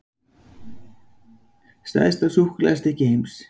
Stærsta súkkulaðistykki heims